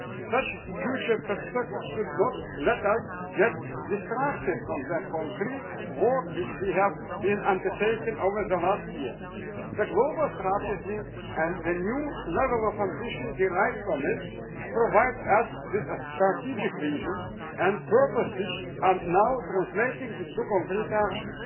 Such future perspectives should not let us get distracted from the concrete work which we have been undertaking over the past year. The global strategy and the new level of ambition derived from it provide us with a strategic vision and purpose, which are now translating into concrete action.